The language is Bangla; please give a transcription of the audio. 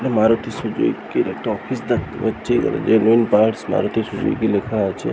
মারুতি সু-জুকি -র একটা অফিস দেখতে পাচ্ছি তারপরে যে মেন পার্টস মারুতি সুজুকি লেখা আছে ।